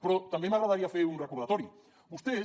però també m’agradaria fer un recordatori vostès